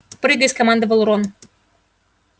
прыгай скомандовал рон